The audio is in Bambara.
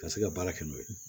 Ka se ka baara kɛ n'o ye